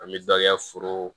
An bɛ dɔ kɛ foro